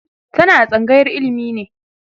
tana a tsangayar ilimi ne